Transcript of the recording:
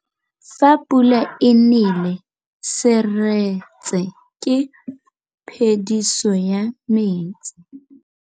Fa pula e nelê serêtsê ke phêdisô ya metsi.